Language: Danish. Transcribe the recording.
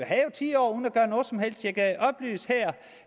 havde ti år uden at gøre noget som helst jeg kan oplyse her